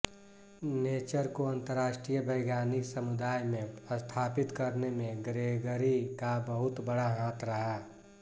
nature को अंतर्राष्ट्रीय वैज्ञानिक समुदाय में स्थापित करने में ग्रेगरी का बहुत बड़ा हाथ रहा